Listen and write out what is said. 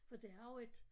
For det har jo et